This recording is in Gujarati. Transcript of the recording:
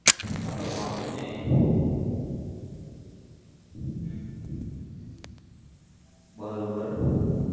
હા તો વાંધો નઈ હમ બરોબર